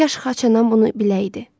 Kaş xaçanam bunu biləydi.